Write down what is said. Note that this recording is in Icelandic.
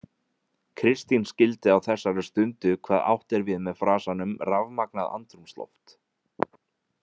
Kristín skildi á þessari stundu hvað átt er við með frasanum „rafmagnað andrúmsloft“.